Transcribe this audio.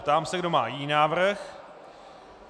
Ptám se, kdo má jiný návrh.